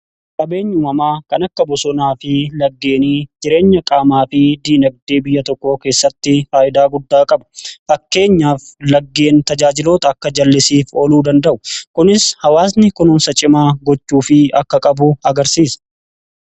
qabeenya umamaa kan akka bosonaa fi laggeenii jireenya qaamaa fi diinagdee biyya tokko keessatti faayidaa guddaa qabu fakkeenyaaf laggeen tajaajiloota akka jal'isiif oluu danda'u kunis hawaasni kunumsa cimaa gochuu fi akka qabu agarsiisa.